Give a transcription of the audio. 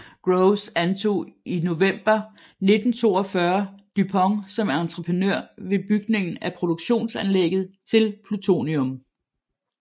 Groves antog i november 1942 DuPont som entreprenør ved bygning af produktionsanlægget til plutonium